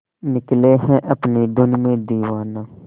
निकले है अपनी धुन में दीवाना